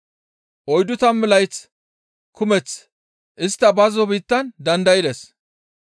Oyddu tammu layth kumeth istta bazzo biittan dandaydes.